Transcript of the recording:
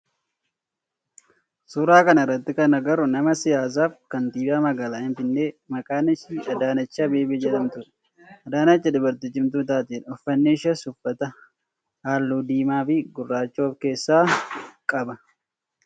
Suuraa kana irratti kan agarru nama siyaasaa fi kantiibaa magaalaa finfinnee maqaan ishee Adaanech Abeebee jedhamtudha. Adaanech dubartii cimtuu taatedha. Uffanni isheen uffatte halluu diimaa fi gurraacha of keessaa qaba.